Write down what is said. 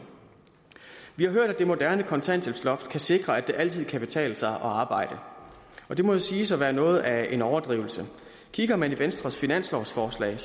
vi har hørt at det moderne kontanthjælpsloft kan sikre at det altid kan betale sig at arbejde det må siges at være noget af en overdrivelse kigger man i venstres finanslovsforslag